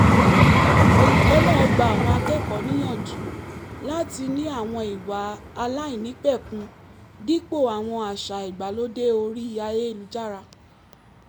olùkọ́ náà gba àwọn akẹ́kọ̀ọ́ níyànjú láti ní àwọn ìwà aláìnípẹ̀kun dípò àwọn àṣà ìgbàlódé orí ayélujára